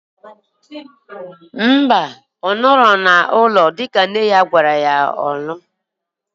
Mba, ọ nọghị n'ụlọ dịka nne ya gwara ya nọrọ.